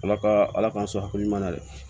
Ala ka ala k'an sɔn hakili ɲuman na dɛ